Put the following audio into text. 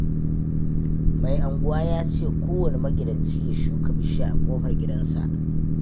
Mai unguwa ya ce kowanne magidanci ya shuka bishiya a ƙofar gidansa